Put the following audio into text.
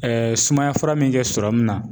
sumaya fura min kɛ serɔmi na